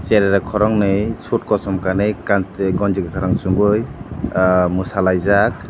cherai rok khoroknwi suit kosom kanwi kanchwlwi gonji kwkhwrang chumui mwsalaijak.